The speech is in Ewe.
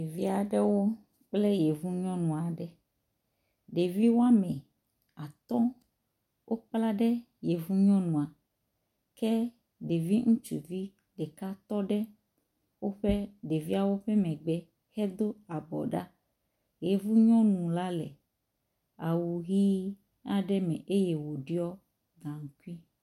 Ɖevi aɖewo kple yevu nyɔnu aɖe. Ɖevi wome atɔ̃ wokpla ɖe yevu nyɔnua ke ɖevi ŋutsuvi ɖeka tɔ ɖe woƒe ɖeviawo ƒe megbe hedo abɔ ɖa. Yevu nyɔnu la le awu ʋi aɖe me eye woɖɔ gaŋkui.